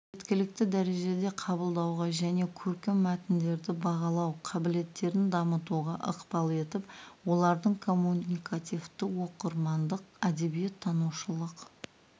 жеткілікті дәрежеде қабылдауға және көркем мәтіндерді бағалау қабілеттерін дамытуға ықпал етіп олардың коммуникативтік оқырмандық әдебиет танушылық